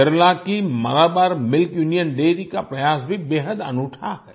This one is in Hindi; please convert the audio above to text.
केरला की मालाबार मिल्क यूनियन डैरी का प्रयास भी बेहद अनूठा है